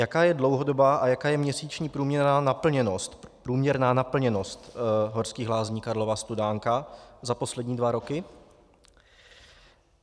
Jaká je dlouhodobá a jaká je měsíční průměrná naplněnost Horských lázní Karlova Studánka za poslední dva roky?